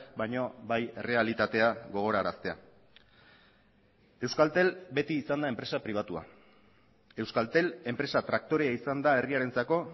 baina bai errealitatea gogoraraztea euskaltel beti izan da enpresa pribatua euskaltel enpresa traktorea izan da herriarentzako